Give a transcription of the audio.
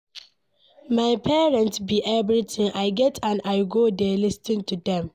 My parents be everything I get and I go dey lis ten to dem